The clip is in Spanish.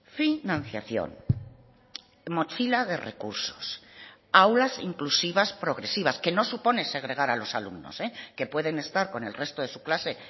financiación mochila de recursos aulas inclusivas progresivas que no supone segregar a los alumnos que pueden estar con el resto de su clase